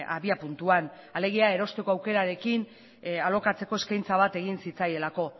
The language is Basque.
abiapuntuan alegia erosteko aukerarekin alokatzeko eskaintza bat egin zitzaielako